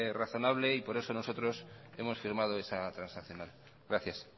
razonable y por eso nosotros hemos firmado esa transaccional gracias